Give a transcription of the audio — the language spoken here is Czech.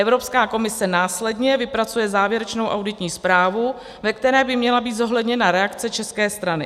Evropská komise následně vypracuje závěrečnou auditní zprávu, ve které by měla být zohledněna reakce české strany.